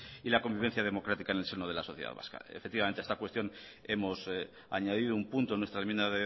y la convivencia democrática en el seño de la sociedad vasca efectivamente en esta cuestión hemos añadido un punto en nuestra enmienda